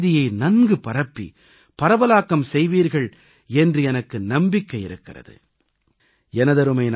நீங்கள் இந்தச் செய்தியை நன்கு பரப்பி பரவலாக்கம் செய்வீர்கள் என்று எனக்கு நம்பிக்கை இருக்கிறது